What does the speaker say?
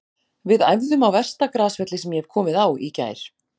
Við æfðum á versta grasvelli sem ég hef komið á í gær.